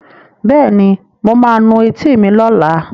Bẹ́ẹ̀ni, mo ma nu etí mi lọ́la